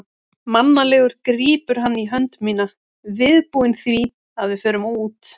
Mannalegur grípur hann í hönd mína, viðbúinn því að við förum út.